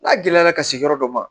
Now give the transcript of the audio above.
N'a gɛlɛyara ka se yɔrɔ dɔ ma